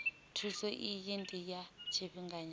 thuso iyi ndi ya tshifhinganyana